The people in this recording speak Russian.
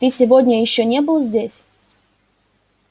ты сегодня ещё не был здесь